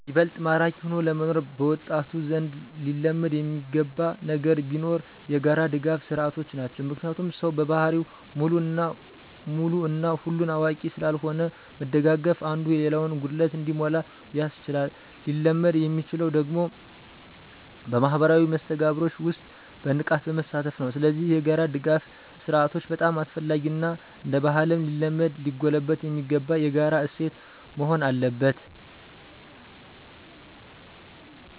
ይበልጥ ማራኪ ሆኖ ለመኖር በወጣቱ ዘንድ ሊለመድ የሚገባ ነገር ቢኖር የጋራ ድጋፍ ስርዓቶች ናቸው። ምክንያቱም ሰው በባህሪው ሙሉ እና ሁሉን አዋቂ ስላልሆነ መደጋገፉ አንዱ የሌላውን ጉድለት እንዲሞላ ያስችላል። ሊለመድ የሚችለው ደግሞ በማህበራዊ መስተጋብሮች ውስጥ በንቃት በመሳተፍ ነው። ስለዚህ የጋራ ድጋፍ ስርአቶች በጣም አስፈላጊ እና እንደባህልም ሊለመድ ሊጎለበት የሚገባው የጋራ እሴት መሆን አለበት።